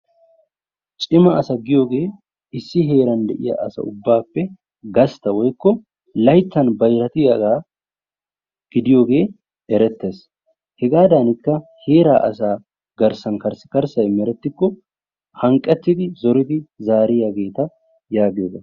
cima asa giyooge issi heeran diya asaa ubbappe gastta woykko layttan bayrattiyaaga gidiyooge erettees. hegadankka heeraa asaa garssan karssikarssaymeretikko hanqqettidi zoridi zaariyaageeta yaagiyogaa.